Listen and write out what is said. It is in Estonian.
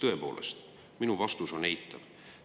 Tõepoolest, minu vastus on eitav.